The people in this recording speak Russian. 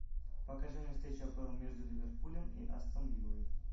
покажи мне встречу апл между ливерпулем и астон виллой